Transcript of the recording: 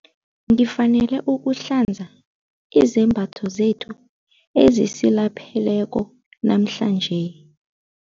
Ngifanele ukuhlanza izembatho zethu ezisilapheleko namhlanje.